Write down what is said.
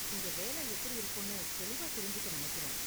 இங்க வேலை எப்படி இருக்கும்னு தெளிவா தெரிஞ்சுக்க நினைக்கிறேன்.